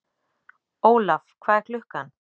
Olav, hvað er klukkan?